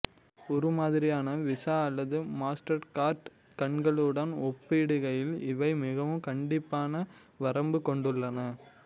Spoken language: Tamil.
உருமாதிரியான விசா அல்லது மாஸ்டர்கார்ட் கணக்குகளுடன் ஒப்பிடுகையில் இவை மிகவும் கண்டிப்பான வரம்பு கொண்டுள்ளன